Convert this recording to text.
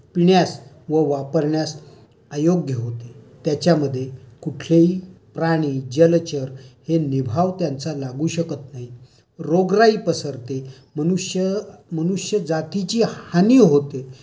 पिण्यास व वापरण्यास अयोग्य होते. त्याच्यामध्ये कुठलेही प्राणी, जलचर हे निभाव त्यांचा लागू शकत नाही. रोगराई पसरते. मनुष्यजातीची हानी होते.